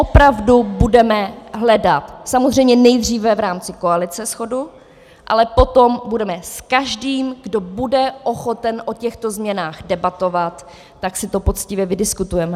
Opravdu budeme hledat samozřejmě nejdříve v rámci koalice shodu, ale potom budeme s každým, kdo bude ochoten o těchto změnách debatovat, tak si to poctivě vydiskutujeme.